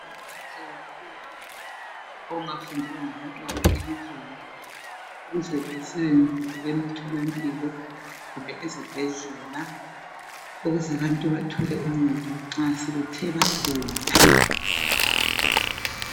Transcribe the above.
Umsebenzi omuhle kakhulu ongafundelwa ngabantwana elizweni ukuze basebenze emtholampilo kumbe ezibhedlela ukuze abantu bathole uncedo nxa sebethe bagula..